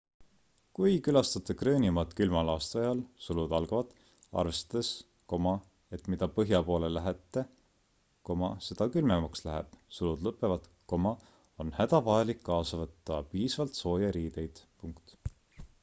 kui külastate gröönimaad külmal aastaajal arvestades et mida põhja poole lähete seda külmemaks läheb on hädavajalik kaasa võtta piisavalt sooje riideid